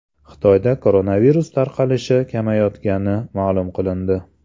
Xitoyda koronavirus tarqalishi kamayayotgani ma’lum qilindi.